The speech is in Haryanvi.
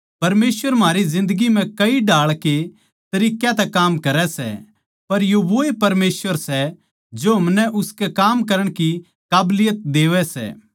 परमेसवर म्हारी जिन्दगी म्ह कई ढाळ के तरिक्कां तै काम करै सै पर यो वोए परमेसवर सै जो हमनै उसके काम करण की काबलियत देवै सै